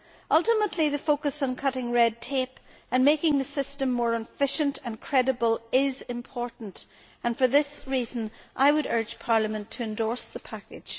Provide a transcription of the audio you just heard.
Ultimately, the focus on cutting red tape and making the system more efficient and credible is important, and for this reason I would urge Parliament to endorse the package.